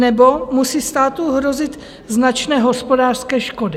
Nebo musí státu hrozit značné hospodářské škody.